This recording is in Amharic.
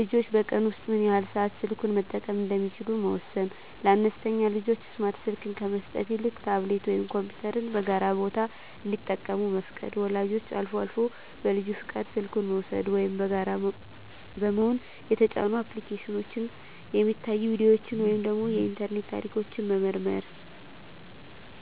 ልጆች በቀን ውስጥ ምን ያህል ሰዓት ስልኩን መጠቀም እንደሚችሉ መወሰን። ለአነስተኛ ልጆች ስማርት ስልክ ከመስጠት ይልቅ ታብሌት ወይም ኮምፒውተርን በጋራ ቦታ እንዲጠቀሙ መፍቀድ። ወላጆች አልፎ አልፎ በልጁ ፈቃድ ስልኩን በመውሰድ (ወይም በጋራ በመሆን) የተጫኑ አፕሊኬሽኖች፣ የሚታዩ ቪዲዮዎች ወይም የኢንተርኔት ታሪክ መመርመር።